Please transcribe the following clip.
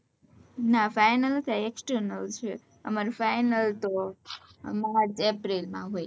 ના final નથી આ external છે અમારે final તો March April માં હોય